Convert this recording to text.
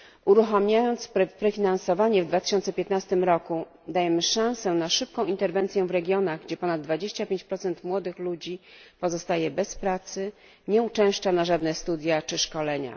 Uruchamiając prefinansowanie w 2015 roku dajemy szansę na szybką interwencję w regionach, gdzie ponad 25 młodych ludzi pozostaje bez pracy, nie uczęszcza na żadne studia czy szkolenia.